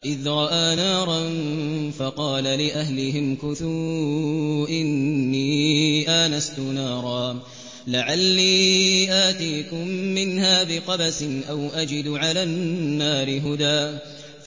إِذْ رَأَىٰ نَارًا فَقَالَ لِأَهْلِهِ امْكُثُوا إِنِّي آنَسْتُ نَارًا لَّعَلِّي آتِيكُم مِّنْهَا بِقَبَسٍ أَوْ أَجِدُ عَلَى النَّارِ هُدًى